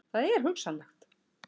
Það er hugsanlegt.